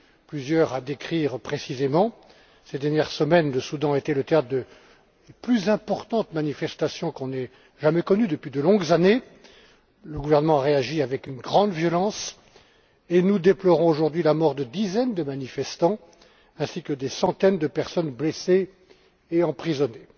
plusieurs à décrire précisément. Ces dernières semaines, le Soudan a été le théâtre des plus importantes manifestations qu'on ait jamais connues depuis de longues années. Le gouvernement a réagi avec une grande violence, et nous déplorons aujourd'hui la mort de dizaines de manifestants ainsi que des centaines de personnes blessées et emprisonnées.